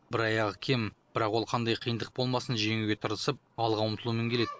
бір аяғы кем бірақ ол қандай қиындық болмасын жеңуге тырысып алға ұмтылумен келеді